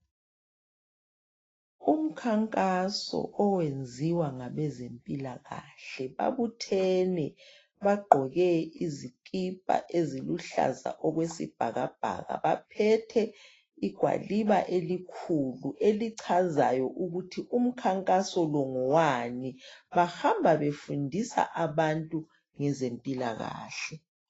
Umkhankaso owenziwa ngabezempilakahle babuthene bagqoke izikipa eziluhlaza okwesibhakabhaka baphethe igwaliba elikhulu elichazayo ukuthi umkhankaso ngowani bahamba befundisa abantu ngeze mpilakahle